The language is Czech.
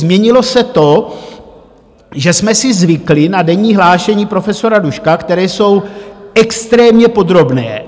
Změnilo se to, že jsme si zvykli na denní hlášení profesora Duška, která jsou extrémně podrobná.